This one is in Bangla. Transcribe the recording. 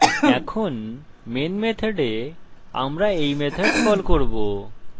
এখন main method আমরা এই method call করব